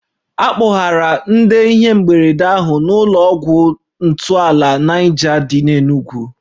A kpọgara ndị ihe mberede ahụ n'ụlọ ọgwụ ntọala Niger dị n'Enugwu